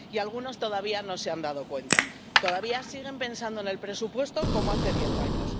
Y algunos todavía no se han dado cuenta, todavía siguen pensando en el presupuesto como hace diez años.